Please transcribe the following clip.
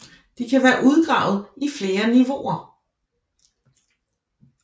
De kan være udgravet i flere niveauer